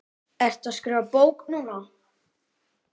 Ertu að skrifa bók núna?